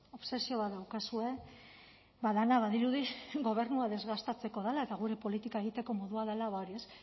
obsesio bat daukazue ba dena badirudi gobernua desgastatzeko dela eta gure politika egiteko modua dela ba hori ez